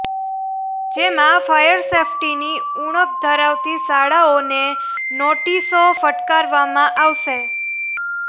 જેમા ફાયર સેફટીની ઉણપ ધરાવતી શાળાઓને નોટીસો ફટકારવામાં આવશે